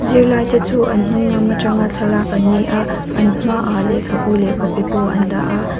zirlai te chu an hnung lam atanga thlalak an ni a an hmaah lehkhabu leh copy bu an dah a.